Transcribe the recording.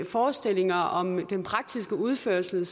forestillinger om den praktiske udførelse